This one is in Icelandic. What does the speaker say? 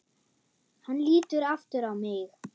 Hann lítur aftur á mig.